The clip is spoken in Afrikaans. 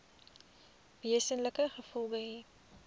wesenlike gevolge hê